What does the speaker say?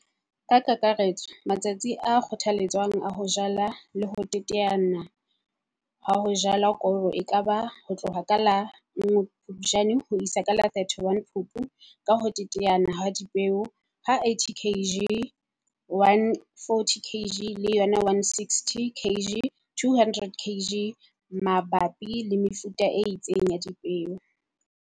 Ka kakaretso, matsatsi a kgothaletswang a ho jala le ho teteana ha ho jalwa koro e ka ba ho tloha ka la 1 Phupjane ho isa ho la 31 Phupu ka ho teteana ha dipeo ha 80 kg 140 kg le yona 160 kg 200 kg mabapi le mefuta e itseng ya dipeo.